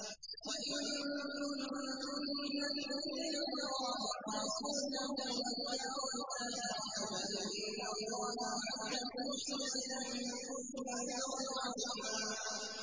وَإِن كُنتُنَّ تُرِدْنَ اللَّهَ وَرَسُولَهُ وَالدَّارَ الْآخِرَةَ فَإِنَّ اللَّهَ أَعَدَّ لِلْمُحْسِنَاتِ مِنكُنَّ أَجْرًا عَظِيمًا